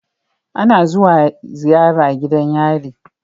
Ana zuwa ziyara gidan yari